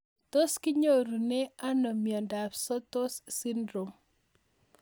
Tos kinyorune ano miondop Sotos syndrome